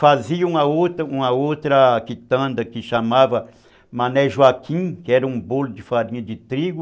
Fazia uma outra uma outra quitanda que chamava Mané Joaquim, que era um bolo de farinha de trigo.